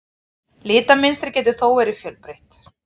Litamynstrið getur þó verið fjölbreytt.